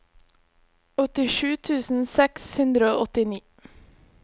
åttisju tusen seks hundre og åttini